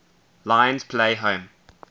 lions play home